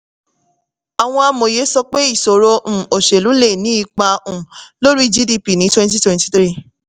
àwọn amoye sọ pé ìṣòro um òṣèlú lè ní ipa um lórí gdp ní twenty twenty-three